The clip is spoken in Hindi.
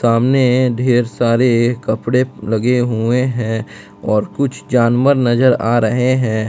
सामने ढेर सारे कपड़े लगे हुए हैं और कुछ जानवर नजर आ रहें हैं।